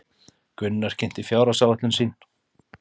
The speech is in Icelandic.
Gunnar kynnti fjárhagsáætlun sín